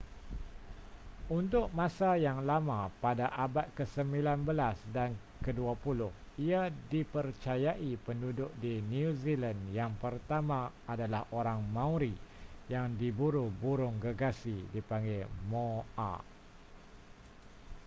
untuk masa yang lama pada abad kesembilan belas dan kedua puluh ia dipercayai penduduk di new zealand yang pertama adalah orang maori yang diburu burung gergasi dipanggil moa